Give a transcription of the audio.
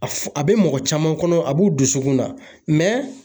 A fɔ a bɛ mɔgɔ caman kɔnɔ a b'u dusukun na